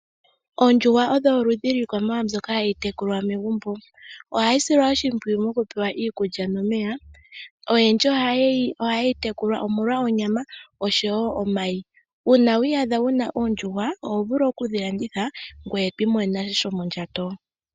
Oondjuhwa odho oludhi lwiikwamawawa mbyoka hayi tekulwa megumbo, ohayi silwa oshimpwiyu moku pewa iikulya nomeya. Oyendji oha yeyi tekula omolwa onyama osho wo omayi. Uuna wa iyadha wuna oondjuhwa oho vulu oku dhi landitha ngoye twiimonene sha shomo ndjato.